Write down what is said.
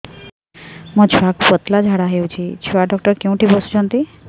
ମୋ ଛୁଆକୁ ପତଳା ଝାଡ଼ା ହେଉଛି ଛୁଆ ଡକ୍ଟର କେଉଁଠି ବସୁଛନ୍ତି